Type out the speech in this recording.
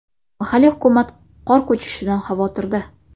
Mahalliy hukumat qor ko‘chishidan xavotirda.